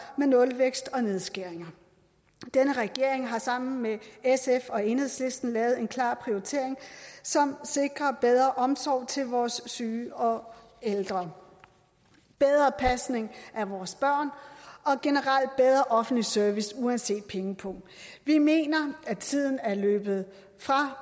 med nulvækst og nedskæringer denne regering har sammen med sf og enhedslisten lavet en klar prioritering som sikrer bedre omsorg til vores syge og ældre bedre pasning af vores børn og generelt bedre offentlig service uanset pengepung vi mener at tiden er løbet fra